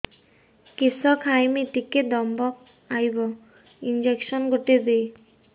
କିସ ଖାଇମି ଟିକେ ଦମ୍ଭ ଆଇବ ଇଞ୍ଜେକସନ ଗୁଟେ ଦେ